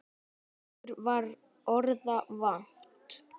Okkur var orða vant.